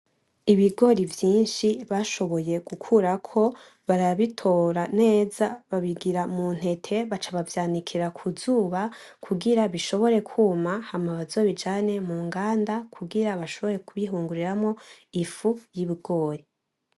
Ibigori vyinshi bashoboye gukurako barabitora nez babigira mu ntebe baca bavyanikira ku zuba kugira bishobore kwuma Hama bazobijane mu nganda kugira bashobore kubihinguramwo ifu y'ibigori